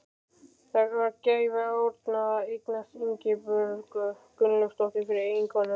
Það var gæfa Árna að eignast Ingibjörgu Gunnlaugsdóttur fyrir eiginkonu.